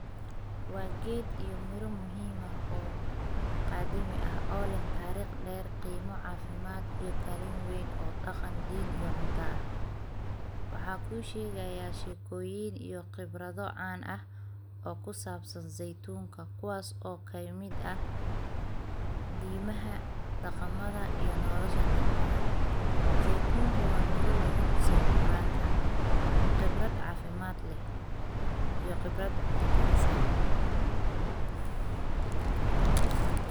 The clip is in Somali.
Waa geed iyo miro muhiim ah oo qaadimi ah oo tarikh dheer ,qiimo cafimaad iyo kaalin weyn dhaqan diin iyo cunto ah. Waxaan kuu shegayaa shekoyin iyo khibrado caan ah oo ku saabsan zeytuunka kuwaas oo kamid ah diimaha, dhaqamaha iyo nolosha dad badan. Zeytunku waa midho lagu xusayo Quranka, khibrad cafimaad leh iyo khibrad cunta karis ah.